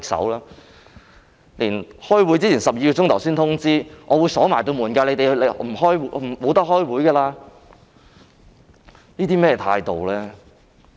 這次在開會前12小時才通知會議場地會鎖門，不能開會，這是甚麼態度呢？